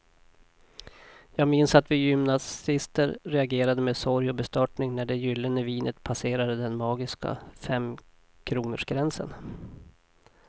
Jag minns att vi gymnasister reagerade med sorg och bestörtning när det gyllene vinet passerade den magiska femkronorsgränsen.